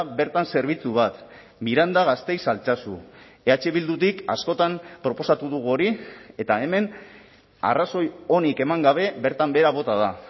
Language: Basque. bertan zerbitzu bat miranda gasteiz altsasu eh bildutik askotan proposatu dugu hori eta hemen arrazoi onik eman gabe bertan behera bota da